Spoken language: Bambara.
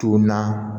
Tun na